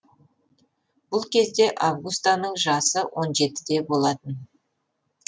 бұл кезде августаның жасы он жеті де болатын